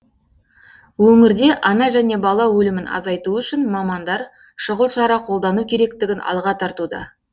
өңірде ана және бала өлімін азайту үшін мамандар шұғыл шара қолдану керектігін алға тартуда